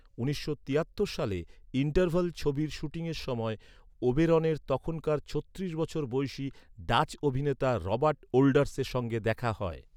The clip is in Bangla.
উনিশশো তিয়াত্তর সালে ‘ইন্টারভাল’ ছবির শুটিংয়ের সময় ওবেরনের তখনকার ছত্রিশ বছর বয়সি ডাচ অভিনেতা রবার্ট ওল্ডার্সের সঙ্গে দেখা হয়।